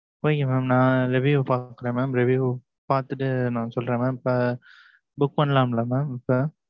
Okay mam நான் review பாக்குறேன் mam. Review பாத்துட்டு, நான் சொல்றேன் mam இப்ப, book பண்ணலாம்ல mam இப்ப?